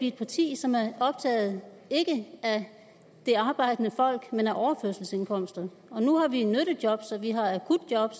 et parti som er optaget ikke af det arbejdende folk men af overførselsindkomsterne nu har vi nyttejob vi har akutjob